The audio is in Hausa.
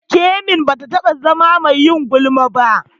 Kemi ba ta taɓa zama mai yin gulma ba.